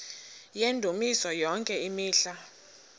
yendumiso yonke imihla